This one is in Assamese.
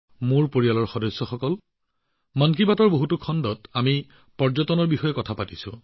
মোৰ পৰিয়ালৰ সদস্যসকল আমি মন কী বাতৰ বহু খণ্ডত পৰ্যটনৰ কথা পাতিছো